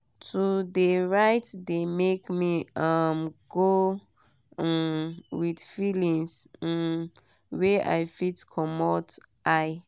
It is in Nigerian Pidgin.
to de write de make me um go um with feelings um wey i fit commot eye.